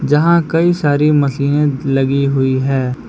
यहां कई सारी मशीनें लगी हुई हैं।